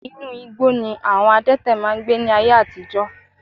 Inú igbó ni àwọn adẹ́tẹ̀ máa ń gbé ní ayé àtijọ́